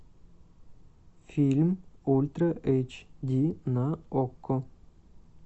фильм ультра эйч ди на окко